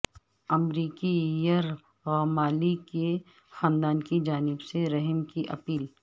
امریکی یرغمالی کے خاندان کی جانب سے رحم کی اپیل